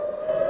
A Bayram.